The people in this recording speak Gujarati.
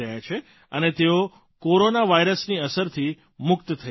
અને તેઓ કોરોના વાયરસની અસરથી મુક્ત થઇ રહ્યા છે